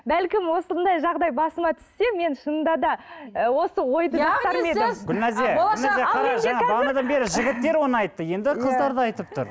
бәлкім осындай жағдай басыма түссе мен шынында да ы осы ойды бағанадан бері жігіттер оны айтты енді қыздар да айтып тұр